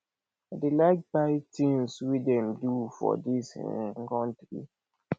i dey like buy tins wey dem do for dis um country